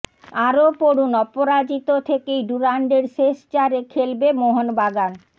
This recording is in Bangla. আরও পড়ুন অপরাজিত থেকেই ডুরান্ডের শেষ চারে খেলবে মোহনবাগান